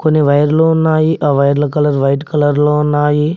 కొన్ని వైర్లు ఉన్నాయి ఆ వైర్ల కలర్ వైట్ కలర్ లో ఉన్నాయి.